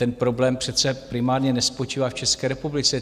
Ten problém přece primárně nespočívá v České republice.